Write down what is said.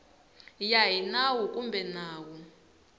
ya hi nawu kumbe nawu